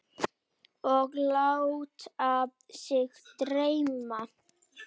Og láta sig dreyma.